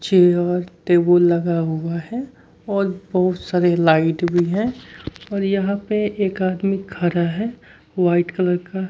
chair table लगा हुआ है और बहुत सारे लाइट भी है और यहां पे एक आदमी खरा है वाइट कलर का--